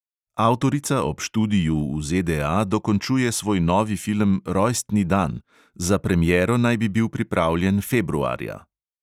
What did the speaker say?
Avtorica ob študiju v ZDA dokončuje svoj novi film rojstni dan; za premiero naj bi bil pripravljen februarja.